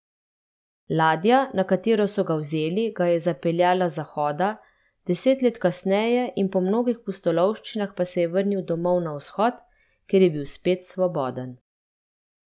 Ladja, na katero so ga vzeli, ga je zapeljala z zahoda, deset let kasneje in po mnogih pustolovščinah pa se je vrnil domov na vzhod, kjer je bil spet svoboden.